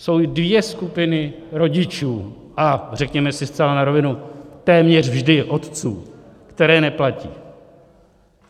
Jsou dvě skupiny rodičů - a řekněme si zcela na rovinu, téměř vždy otců - které neplatí.